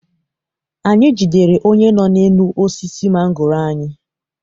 Anyị jidere onye nọ n'elu osisi mangoro anyị.